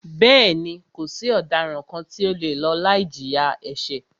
Bẹ́ẹ̀ni, kò sí ọ̀daràn kàn tí o le lọ láì jìyà ẹ̀ṣẹ̀.